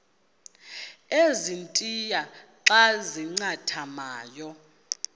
ezintia xa zincathamayo